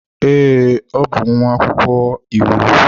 Ee, ọ bụ nwa akwụkwọ iwu.